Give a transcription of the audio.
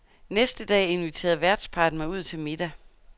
Næste dag inviterede værtsparret mig ud til middag.